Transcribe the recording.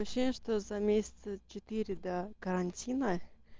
что за месяца четыре до карантина